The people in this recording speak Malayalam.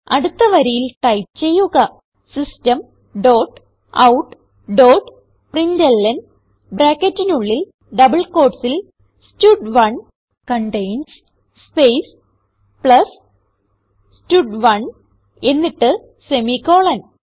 അടുത്ത വരിയിൽ ടൈപ്പ് ചെയ്യുക system dot out dot println ബ്രാക്കറ്റിനുള്ളിൽ ഡബിൾ quotesൽ സ്റ്റഡ്1 കണ്ടെയിൻസ് സ്പേസ് പ്ലസ് സ്റ്റഡ്1 എന്നിട്ട് സെമിക്കോളൻ